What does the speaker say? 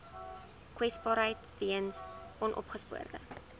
kwesbaarheid weens onopgespoorde